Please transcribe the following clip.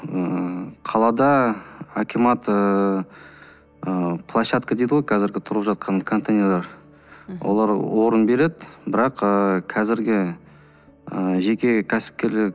ыыы қалада акимат ыыы площадка дейді ғой қазіргі тұрып жатқан контейнерлар олар орын береді бірақ ыыы қазіргі ыыы жеке кәсіпкерлер